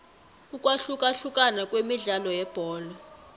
ukwahlukahlukana kwemidlalo yebholo